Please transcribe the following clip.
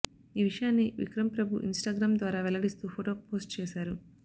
ఈ విషయాన్ని విక్రమ్ ప్రభు ఇన్స్టాగ్రామ్ ద్వారా వెల్లడిస్తూ ఫొటో పోస్ట్ చేశారు